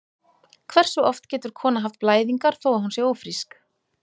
Hversu oft getur kona haft blæðingar þó að hún sé ófrísk?